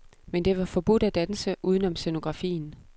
Men det var forbudt at danse uden om scenografien.